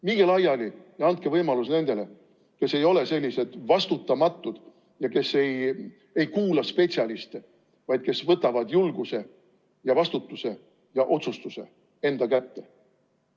Minge laiali ja andke võimalus nendele, kes ei ole sellised vastutamatud ja kes ei kuula spetsialiste, vaid kes võtavad julguse ja vastutuse ja otsustuse enda kätte.